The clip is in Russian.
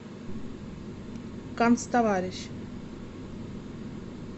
канцтоварищ